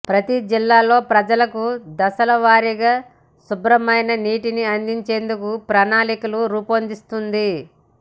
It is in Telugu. ప్రతి జిల్లాలో ప్రజలకు దశలవారీగా శుభ్రమైన నీటిని అందించేందుకు ప్రణాళికలు రూపొందిస్తోంది